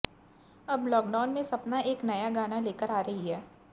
अब लॉकडाउन में सपना एक नया गाना लेकर आ रही हैं